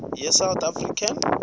ye south african